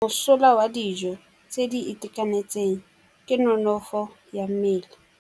Mosola wa dijô tse di itekanetseng ke nonôfô ya mmele.